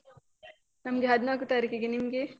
ನಮ್ಗೆ ಹದ್ನಾಕು ತಾರೀಕಿಗೆ ನಿಮ್ಗೆ?